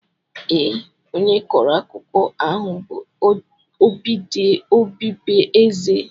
Ee, onye kọrọ akụkọ ahụ bụ ọdịbeeze